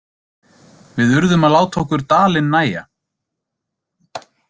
Við urðum að láta okkur dalinn nægja.